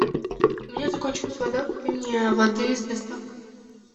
у меня закончилась вода купи мне воды с доставкой